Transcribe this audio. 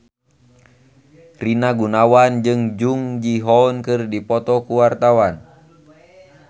Rina Gunawan jeung Jung Ji Hoon keur dipoto ku wartawan